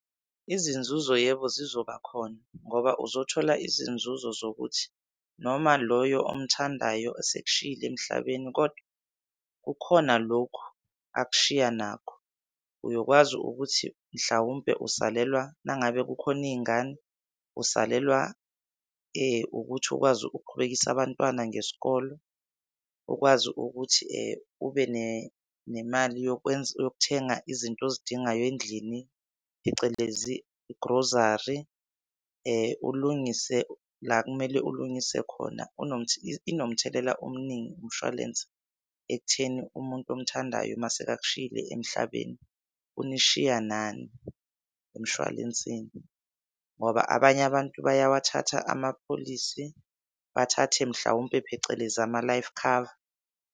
Izinzuzo yebo, zizoba khona ngoba uzothola izinzuzo zokuthi noma loyo omthandayo esekushiyile emhlabeni, kodwa kukhona lokhu akushiya nakho. Uyokwazi ukuthi mhlawumpe usalelwa, nangabe kukhona iy'ngane usalelwa ukuthi ukwazi ukuqhubekisa abantwana ngesikole, ukwazi ukuthi ube nemali yokuthenga izinto ozidingayao endlini phecelezi igrozari. Ulungise la kumele ulungise khona. Inomthelela omningi umshwalense ekutheni umuntu omuthandayo masekakushiyile emhlabeni unishiya nani emshwalensini. Ngoba abanye abantu bayawathatha ama-policy, bathathe mhlawumpe phecelezi ama-life cover.